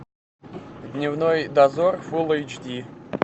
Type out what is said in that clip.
дневной дозор фулл эйч ди